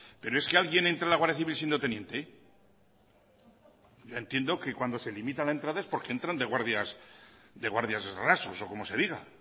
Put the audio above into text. pero es que alguien entra a la guardia civil siendo teniente yo entiendo que cuando se limita la entrada es porque entran de guardias rasos o como se diga